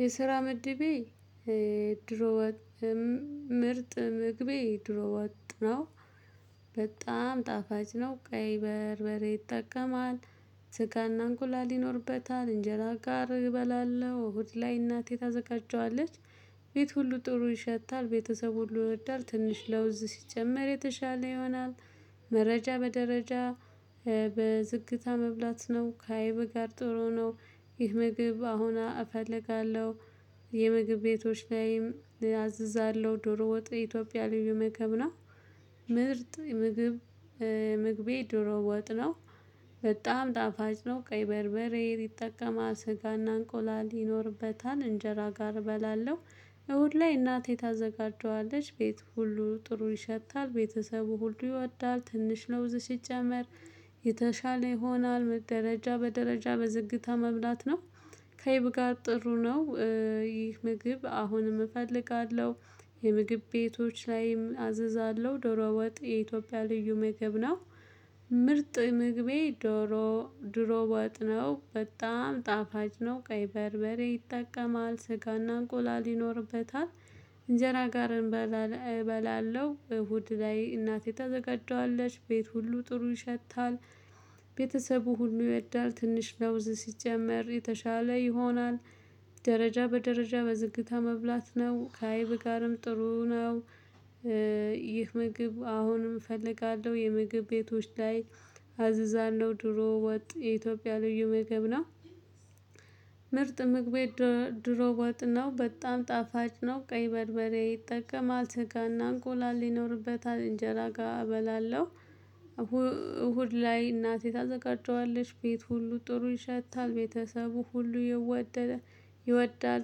የስራ ምድቤ ዶሮ ወጥ ምርጥ ምግቤ ዶሮ ወጥ ነው። በጣም ጣፋጭ ነው ቀይ በርበሬ ይጠቀማል። ስጋና እንቁላል ይኖርበታል እንጀራ ጋር እበላለሁ እሁድ ላይ እናቴ ታዘጋጀዋለች። ቤት ሁሉ ጥሩ ይሸታል ቤተሰብ ሁሉ ይወዳል ትንሽ ለውዝ ሲጨመር የተሻለ ይሆናል። መረጃ በደረጃ በዝግታ መብላት ነው ከአይብ ጋር ጥሩ ነው። ይህ ምግብ አሁን እፈልጋለሁ የምግብ ቤቶች ላይም አዝዛለሁ ዶሮ ወጥ ኢትዮጵያ ልዩ ምግብ ነው። ምርጥ ምግብ። ምግቤ ዶሮ ወጥ ነው። በጣም ጣፋጭ ነው ቀይ በርበሬ ይጠቀማል ስጋና እንቆላል ይኖርበታል እንጀራ ጋር እበላለሁ። እሁድ ላይ እናቴ ታዘጋጀዋለች ቤት ሁሉ ጥሩ ይሸታል ቤተሰቡ ሁሉ ይወዳል ትንሽ ለውዝ ሲጨመር የተሻለ ይሆናል። ደረጃ በደረጃ በዝግታ መብላት ነው። ከአይብ ጋር ጥሩ ነው። ይህ ምግብ አሁንም እፈልጋለሁ የምግብ ቤቶች ላይም አዝዛለሁ ዶሮ ወጥ የኢትዮጵያ ልዩ ምግብ ነው። ምርጥ ምግቤ ዶሮ ድሮ ወጥ ነው በጣም ጣፋጭ ነው ቀይ በርበሬ ይጠቀማል ስጋና እንቁላል ይኖርበታል። እንጀራ ጋር እበላለሁ እሁድ ላይ እናቴ ተዘጋጀዋለች ቤት ሁሉ ጥሩ ይሸታል። ቤተሰቡ ሁሉ ይወዳል ትንሽ ለውዝ ሲጨመር የተሻለ ይሆናል። ደረጃ በደረጃ በዝግታ መብላት ነው ከአይብ ጋርም ጥሩ ነው። ይህ ምግብ አሁንም እፈልጋለሁ የምግብ ቤቶች ላይ አዝዛለሁ ዶሮ ወጥ የኢትዮጵያ ልዩ ምግብ ነው። ምርጥ ምግቤ ዶ ዶሮ ወጥ ነው በጣም ጣፋጭ ነው ቀይ በርበሬ ይጠቀማል ስጋና እንቁላል ይኖርበታል። እንጀራ ጋር እበላለሁ እሁድ ላይ እናቴ ታዘጋጀዋለች ቤት ሁሉ ጥሩ ይሸታል። ቤተሰቡ ሁሉ ይወደደ ይወዳል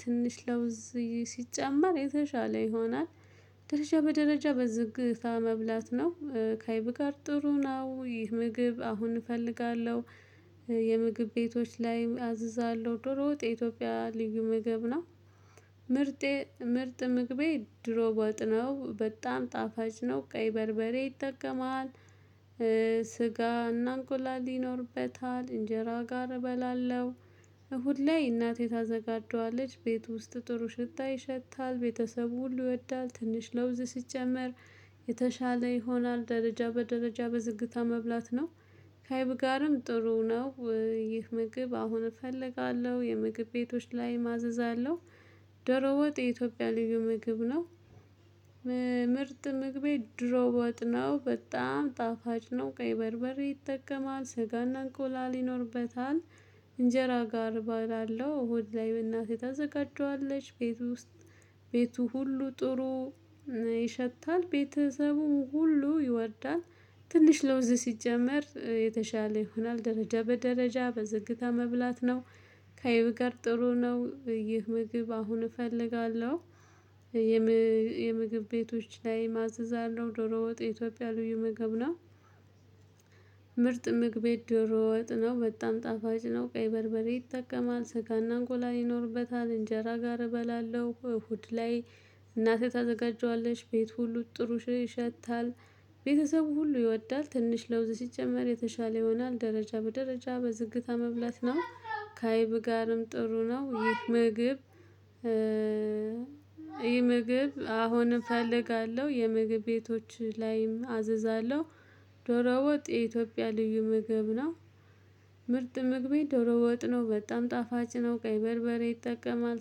ትንሽ ለውዝ ሲጨመር የተሻለ ይሆናል። ደረጃ በደረጃ በዝግታ መብላት ነው ከአይብ ጋር ጥሩ ነው። ይህ ምግብ አሁን እፈልጋለሁ የምግብ ቤቶች ላይ አዝዛለሁ ዶሮ የኢትዮጵያ ልዩ ምግብ ነው። ምርጥ ምርጥ ምግቤ ዶሮ ወጥ ነው በጣም ጣፋጭ ነው ቀይ በርበሬ ይጠቀማል። ስጋና እንቁላል ይኖርበታል እንጀራ ጋር እበላለሁ እሁድ ላይ እናቴ ታዘጋጀዋለች ቤት ውስጥ ጥሩ ሽታ ይሸታል ቤተሰቡ ሁሉ ይወዳል ትንሽ ለውዝ ሲጨመር። የተሻለ ይሆናል ደረጃ በደረጃ በዝግታ መብላት ነው። ከአይብ ጋርም ጥሩ ነው። ይህ ምግብ አሁን እፈልጋለሁ የምግብ ቤቶች ላይ አዝዛለው። ዶሮ ወጥ የኢትዮጵያ ልዩ ምግብ ነው። ምርጥ ምግቤ ዶሮ ወጥ ነው በጣም ጣፋጭ ነው ቀይ በርበሬ ይጠቀማል ስጋና እንቆላል ይኖርበታል። እንጀራ ጋር እባላለው እሁድ ላይ እናቴ ታዘጋጀዋለች ቤት ውስጥ። ቤቱ ሁሉ ጥሩ ይሸታል ቤተሰቡ ሁሉ ይወዳል። ትንሽ ለውዝ ሲጨመር የተሻለ ይሆናል ደረጃ በደረጃ በዝግታ መብላት ነው። ከአይብ ጋር ጥሩ ነው ይህ ምግብ አሁን እፈልጋለሁ። የም የምግብ ቤቶች ላይ ማዘዝ አለው ዶሮ ወጥ የኢትዮጵያ ልዩ ምግብ ነው። ምግቤ ዶሮ ወጥ ነው በጣም ጣፋጭ ነው ቀይ በርበሬ ይጠቀማል ስጋና እንቁላል ይኖርበታል። እንጀራ ጋር እበላለሁ እሁድ ላይ እናቴ ታዘጋጀዋለሽ ቤት ሁሉ ጥሩ ይሸታል። ቤተሰቡ ሁሉ ይወዳል ትንሽ ለውዝ ሲጨመር የተሻለ ይሆናል። ደረጃ በደረጃ በዝግታ መብላት ነው ከአይብ ጋርም ጥሩ ነው። ይህ ምግብ። ይህ ምግብ አሁንም እፈልጋለሁ የምግብ ቤቶች ላይም አዝዛለሁ። ዶሮ ወጥ የኢትዮጵያ ልዩ ምግብ ነው። ምርጥ ምግቤ ዶሮ ወጥ ነው በጣም ጣፋጭ ነው ቀይ በርበሬ ይጠቀማል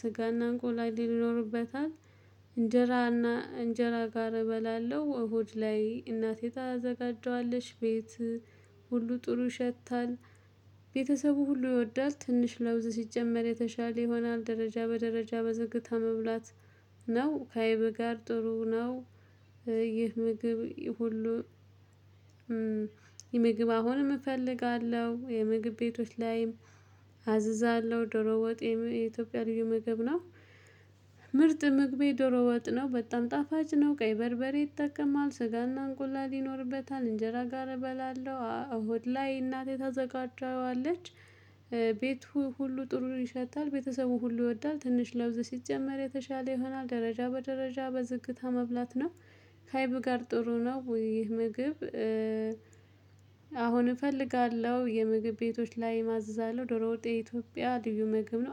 ስጋና እንቁላሌ ይኖርበታል። እንጀራና እንጀራ ጋር እበላለሁ እሁድ ላይ እናቴ ታዘጋጀዋለች ቤት ሁሉ ጥሩ ይሸታል። ቤተሰቡ ሁሉ ይወዳል ትንሽ ለውዝ ሲጨመር የተሻለ ይሆናል። ደረጃ በደረጃ በዝግታ መብላት ነው ከአይብ ጋር ጥሩ ነው። ይህ ምግብ ሁሉ። ምግብ አሁንም እፈልጋለሁ የምግብ ቤቶች ላይም አዝዛለሁ ዶሮ ወጥ የኢትዮጵያ ልዩ ምግብ ነው። ምርጥ መግቤ ዶሮ ወጥ ነው በጣም ጣፋጭ ነው ቀይ በርበሬ ይጠቀማል ስጋና እንቁላል ይኖርበታል። እንጀራ ጋር እበላለሁ እሁድ ላይ እናቴ ታዘጋጃዋለች። ቤቱ ሁሉ ጥሩ ይሸጣል ቤተሰቡ ሁሉ ይወዳል ትንሽ ለውዝ ሲጨመር የተሻለ ይሆናል። ደረጃ በደረጃ በዝግታ መብላት ነው። ካአይብ ጋር ጥሩ ነው ይህ ምግብ። አሁን እፈልጋለሁ የምግብ ቤቶች ላይ አዝዛለው ዶሮ ወጥ የኢትዮጵያ ልዩ ምግብ ነው